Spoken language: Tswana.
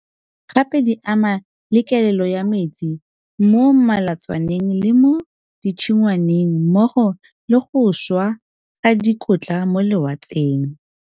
Gape di ama le kelelo ya metsi mo melatswaneng le mo ditshingwaneng mmogo le go šwa ga dikotla mo lewatleng,